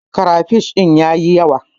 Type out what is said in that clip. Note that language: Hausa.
Krafish din ya yi yawa.